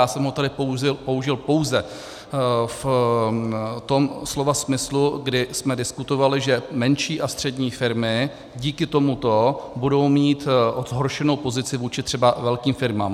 Já jsem ji tady použil pouze v tom slova smyslu, kdy jsme diskutovali, že menší a střední firmy díky tomuto budou mít zhoršenou pozici vůči třeba velkým firmám.